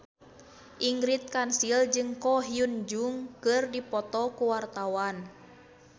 Ingrid Kansil jeung Ko Hyun Jung keur dipoto ku wartawan